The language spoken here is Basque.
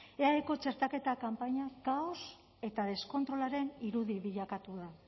eaeko txertaketa kanpaina kaos eta deskontrolaren irudi bilakatu da